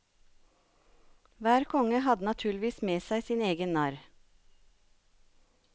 Hver konge hadde naturligvis med seg sin egen narr.